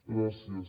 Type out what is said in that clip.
gràcies